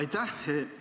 Aitäh!